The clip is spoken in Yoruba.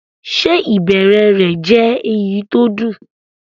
Ṣé ìbẹ̀rẹ̀ rẹ̀ jẹ́ èyí tó dùn?